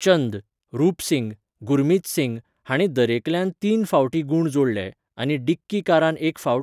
चंद, रूप सिंग, गुरमीत सिंग हांणी दरेकल्यान तीन फावटीं गूण जोडले, आनी डिक्की कारान एक फावट.